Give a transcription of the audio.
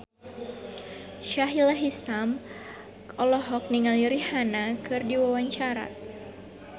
Sahila Hisyam olohok ningali Rihanna keur diwawancara